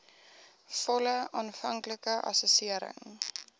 volle aanvanklike assessering